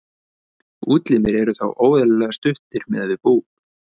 útlimir eru þá óeðlilega stuttir miðað við búk